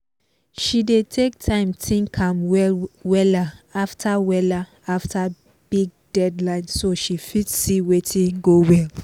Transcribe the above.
she dey take time think am wella after wella after big deadline so she fit see watin go well